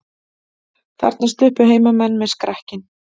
Þarna sluppu heimamenn með skrekkinn